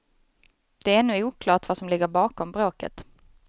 Det är ännu oklart vad som ligger bakom bråket.